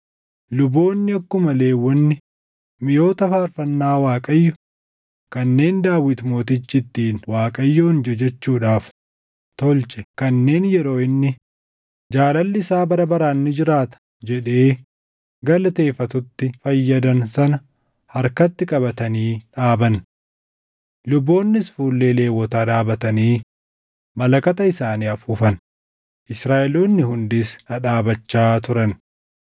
Luboonni akkuma Lewwonni miʼoota faarfannaa Waaqayyo kanneen Daawit Mootichi ittiin Waaqayyoon jajachuudhaaf tolche kanneen yeroo inni, “Jaalalli isaa bara baraan ni jiraata” jedhee galateeffatutti fayyadan sana harkatti qabatanii dhaaban. Luboonnis fuullee Lewwotaa dhaabatanii malakata isaanii afuufan; Israaʼeloonni hundis dhadhaabachaa turan.